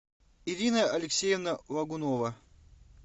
ирина алексеевна логунова